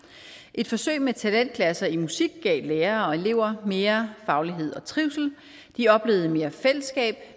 et forsøg med talentklasser i musik gav lærere og elever mere faglighed og trivsel de oplevede mere fællesskab og